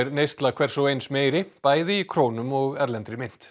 neysla hvers og eins er meiri bæði í krónum og erlendri mynt